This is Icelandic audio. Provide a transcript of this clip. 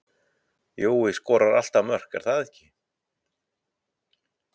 Jói skorar alltaf mörk er það ekki?